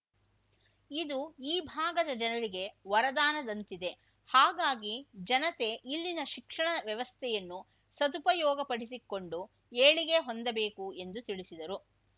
ಇದು ಈ ಭಾಗದ ಜನರಿಗೆ ವರದಾನದಂತಿದೆ ಹಾಗಾಗಿ ಜನತೆ ಇಲ್ಲಿನ ಶಿಕ್ಷಣ ವ್ಯವಸ್ಥೆಯನ್ನು ಸದುಪಯೋಗಪಡಿಸಿಕೊಂಡು ಏಳಿಗೆ ಹೊಂದಬೇಕು ಎಂದು ತಿಳಿಸಿದರು